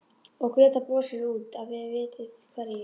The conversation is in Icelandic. Og Gréta brosir út að þið vitið hverju.